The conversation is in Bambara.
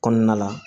Kɔnɔna la